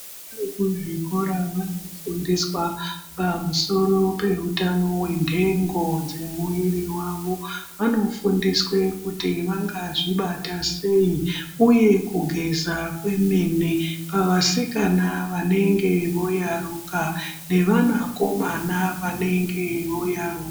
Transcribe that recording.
Vana vekuzvikora vanofundiswa pamusoro peutano venhengo dzemuviri vavo. Vanofundiswe kuti vangazvibata sei, uye kugeza kwemene pavasikana vanenge voyaruka nevana komana vanenge voyaruka.